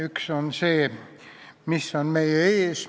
Üks on see, mis on meie ees.